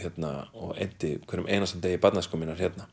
og eyddi hverjum einasta degi barnæsku minnar hérna